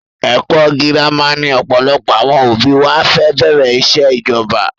Ẹkọ girama ni ọ̀pọ̀lọpọ̀ àwọn òbí wa fi bẹ̀rẹ̀ ìṣẹ́ ìjọba